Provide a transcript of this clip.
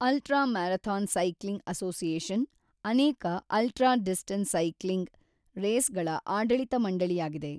Ultra marathon cycling association ಅನೇಕ ultra distance cycling ರೇಸ್‌ಗಳ ಆಡಳಿತ ಮಂಡಳಿಯಾಗಿದೆ.